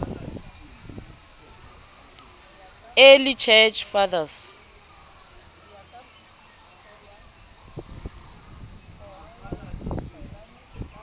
early church fathers